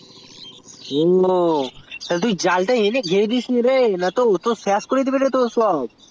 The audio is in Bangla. ওঃ তা তুই জাল তা নিয়ে আসে ঘেরে দুই তুই না হিলে তোর সব শেষ করে দিবে